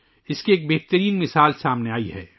اس کی ایک بڑی مثال آسام سے سامنے آئی ہے